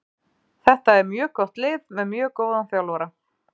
Þetta er mjög gott lið með mjög góðan þjálfara.